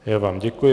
Já vám děkuji.